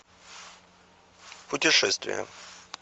путешествия